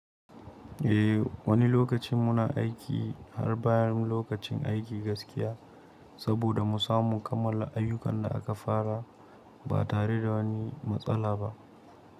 Eh, wani lokacin muna aiki har bayan lokacin aiki gaskiya saboda mu samu kammala ayyukan da aka fara ba tare da wani matsala ba.